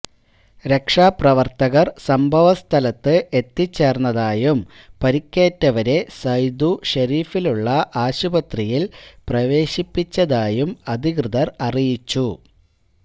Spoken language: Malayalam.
രക്ഷാപ്രവർത്തകർ സംഭവസ്ഥലത്ത് എത്തിച്ചേർന്നതായും പരിക്കേറ്റവരെ സൈദു ഷെരീഫിലുള്ള ആശുപത്രിയിൽ പ്രവേശിപ്പിച്ചതായും അധികൃതർ അറിയിച്ചു